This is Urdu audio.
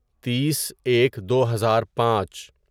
تیس ایک دوہزار پانچ